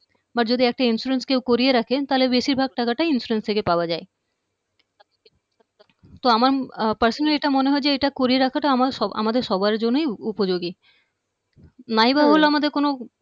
বা যদি একটা insurance কেউ করিয়ে রাখে তাহলে বেশির ভাগ টাকাটাই insurance থেকে পাওয়া যায় তো আমার personally এটা মনে হয় যে এটা করিয়ে রাখাটা আমার আমাদের সবার জন্যই উপযোগী নাই বা হলো আমাদের কোনো